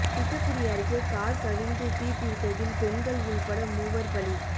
திட்டக்குடி அருகே காா் கவிழ்ந்து தீப்பிடித்ததில் பெண்கள் உள்பட மூவா் பலி